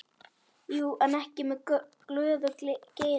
Jú, en ekki með glöðu geði.